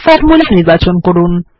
formula নির্বাচন করুন